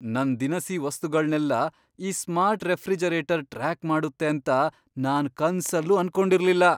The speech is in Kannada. ನನ್ ದಿನಸಿ ವಸ್ತುಗಳ್ನೆಲ್ಲ ಈ ಸ್ಮಾರ್ಟ್ ರೆಫ್ರಿಜರೇಟರ್ ಟ್ರ್ಯಾಕ್ ಮಾಡುತ್ತೆ ಅಂತ ನಾನ್ ಕನ್ಸಲ್ಲೂ ಅನ್ಕೊಂಡಿರ್ಲಿಲ್ಲ.